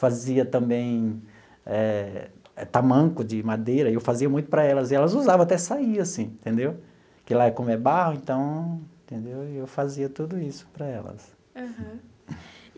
fazia também eh tamanco de madeira, eu fazia muito para elas, e elas usavam até sair assim entendeu, porque lá é como é barro então entendeu, e eu fazia tudo isso para elas. Aham.